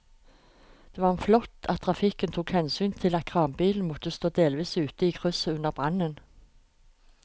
Det var flott at trafikken tok hensyn til at kranbilen måtte stå delvis ute i krysset under brannen.